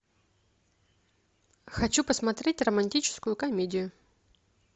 хочу посмотреть романтическую комедию